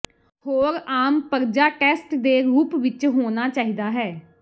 ਹੋਰ ਆਮ ਪਰਜਾ ਟੈਸਟ ਦੇ ਰੂਪ ਵਿਚ ਹੋਣਾ ਚਾਹੀਦਾ ਹੈ